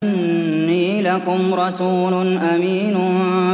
إِنِّي لَكُمْ رَسُولٌ أَمِينٌ